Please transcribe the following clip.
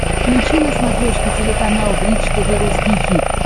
включи на смотрешке телеканал бридж тв русский хит